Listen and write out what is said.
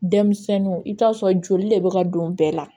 Denmisɛnninw i bɛ t'a sɔrɔ joli de bɛ ka don bɛɛ la